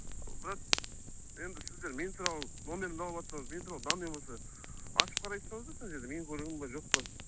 брат енді сіздер мен туралы номерімді алыватсаңыз мен туралы данный болса ашып қарай салсаңыздаршы анау жерде менің көлігім бе жоқ па